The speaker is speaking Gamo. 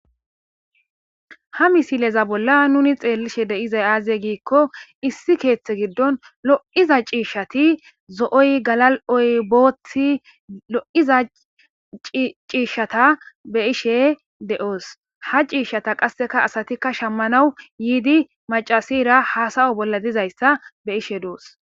ha misileza bolla nuni xeellishe de'izay aaze giikko issi keeththe giddon lo'iza ciishshati zo'oy galal'oy boothi lo'iza ciishshata be ishe de'oos ha ciishshata qasseka asatikka shammanawu yiidi macasira haasawo bolla dizayssa beishe doos